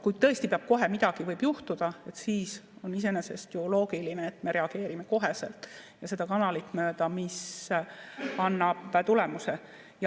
Kui tõesti kohe midagi võib juhtuda, siis on iseenesest ju loogiline, et me reageerime koheselt ja seda kanalit mööda, mis annab tulemuse.